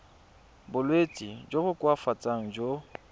bolwetsi jo bo koafatsang jo